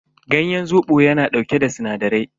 Ganyen zobo yana dauke da sinadarai.